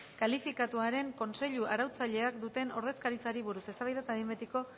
kalifikatuaren kontseilu arautzailean duten ordezkaritzari buruz eztabaida eta behin betiko